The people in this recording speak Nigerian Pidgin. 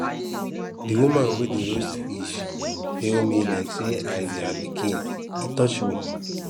di woman wey dey roast fish hail me like say i be her pikin e touch me